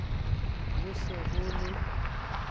ho se ho ho le